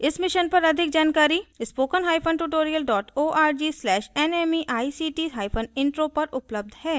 इस mission पर अधिक जानकारी spokentutorial org/nmeictintro पर उपलब्ध है